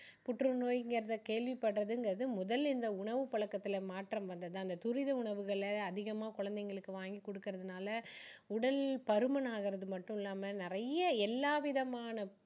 புற்று நோய்ங்குறத கேள்விப்படுறதுங்கிறது முதல் இந்த உணவு பழக்கத்துல மாற்றம் வந்தது தான் இந்த துரித உணவுகளை அதிகமா குழந்தைங்களுக்கு வாங்கி கொடுக்குறதுனால உடல் பருமன் ஆகுறது மட்டும் இல்லாம நிறைய எல்லா விதமான